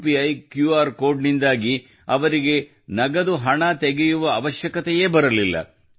ಯುಪಿಇ QR code UPI QR code ನಿಂದಾಗಿ ಅವರಿಗೆ ನಗದು ಹಣ ತೆಗೆಯುವ ಅವಶ್ಯಕತೆಯೇ ಬರಲಿಲ್ಲ